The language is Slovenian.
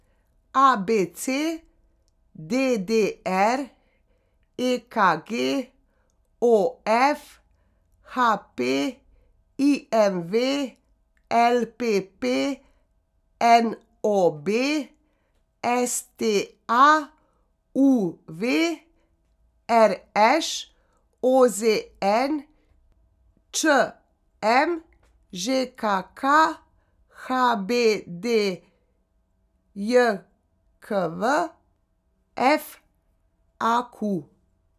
A B C; D D R; E K G; O F; H P; I M V; L P P; N O B; S T A; U V; R Š; O Z N; Č M; Ž K K; H B D J K V; F A Q.